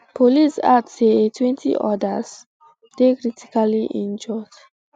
police add say twenty odas um dey critically injured